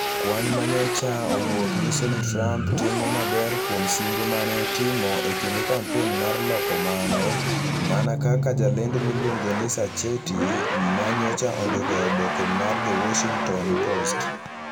Kwan ma nyocha owuok nyiso ni Trump timo maber kuom singo ma ne otimo e kinde kampen mar loko mano, mana kaka jalendo miluongo ni Sacchetti ma nyocha ondiko e oboke mar The Washington Post.